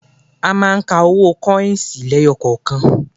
A máa ń ka owó kọ́ọ̀sì lẹ́yọkọ̀kan